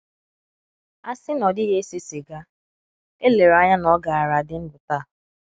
A sị na ọ dịghị ese siga, elere anya na ọ gaara adị ndụ taa.